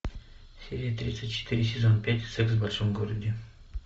серия тридцать четыре сезон пять секс в большом городе